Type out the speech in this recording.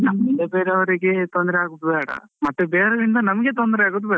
ನಮ್ಮಿಂದ ಬೇರೆ ಅವ್ರಿಗೆ ತೊಂದ್ರೆ ಆಗುದು ಬೇಡ, ಮತ್ತೆ ಬೇರೆ ಅವರಿಂದ ನಮ್ಗೆ ತೊಂದ್ರೆ ಆಗುದು ಬೇಡ.